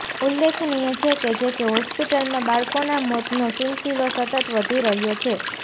ઉલ્લેખનીય છે કે જેકે હોસ્પિટલમાં બાળકોના મોતનો સિલસિલો સતત વધી રહ્યો છે